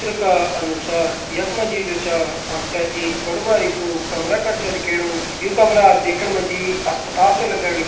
चित्र का अनुसार यख मा जी जु छा हमथे एक बड़ू भारी कु कमरा कर छ दिखेणु यु कमरा देखण मा जी अस्पताल च लगण लगीं।